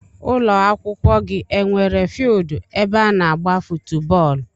Ụlọakwụkwọ gị enwere fieeldu ebe ana agba footu bóólú?